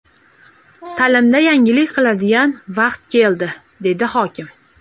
Ta’limda yangilik qiladigan vaqt keldi”, dedi hokim.